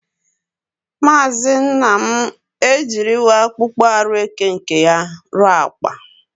Maazi Nnam ejiriwo akpokpo aru eke nke ya ruo Akpa.